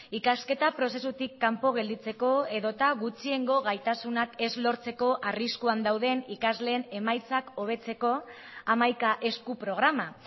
ikasketa prozesutik kanpo gelditzeko edota gutxiengo gaitasunak ez lortzeko arriskuan dauden ikasleen emaitzak hobetzeko hamaika esku programa